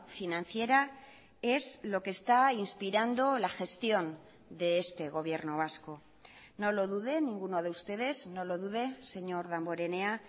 financiera es lo que está inspirando la gestión de este gobierno vasco no lo duden ninguno de ustedes no lo dude señor damborenea